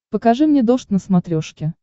покажи мне дождь на смотрешке